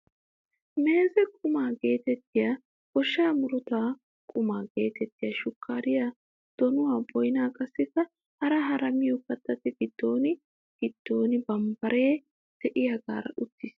Meeze qumaa getettiyaa gooshshaa muruta quma getettiyaa shukkariyaa, donuwaa, boynaa qassikka hara hara miyoo kattati giddo ginan bambbaree de'iyaagara uttiis.